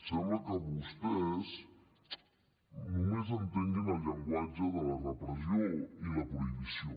sembla que vostès només entenguin el llenguatge de la repressió i la prohibició